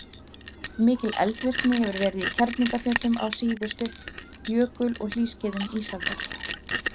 mikil eldvirkni hefur verið í kerlingarfjöllum á síðustu jökul og hlýskeiðum ísaldar